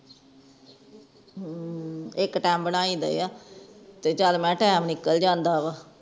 ਹੂ ਇਕ ਟਾਈਮ ਬਣਾਈ ਦੇ ਆ ਤੇ ਚਲ ਮੈਂ ਟਾਈਮ ਨਿਕਲ ਜਾਂਦਾ ਵਾ